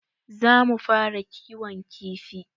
Za mu fara kiwon kifi.